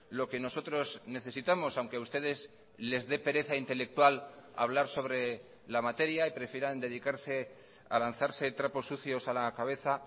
lo que nosotros necesitamos aunque a ustedes les dé pereza intelectual hablar sobre la materia y prefieran dedicarse a lanzarse trapos sucios a la cabeza